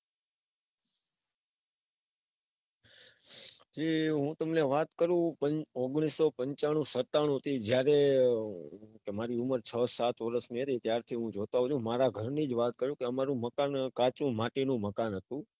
એ હું તમને વાત કરું ઓગણીસો પાંચાનું સત્તાણુ થી જયારે તમારી ઉંમર છ સાત વરસ ની હતી. ત્યાર થી હું જોતો આવું છું. મારા ઘર ની જ વાત કરું મકાન હતું. કાચું માટીનું મકાન હતું.